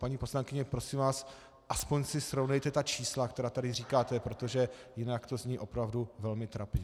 Paní poslankyně, prosím vás, aspoň si srovnejte ta čísla, která tady říkáte, protože jinak to zní opravdu velmi trapně.